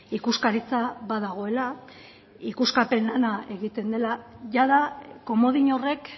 ikuskaritza badagoela ikuskapena egiten dela jada komodin horrek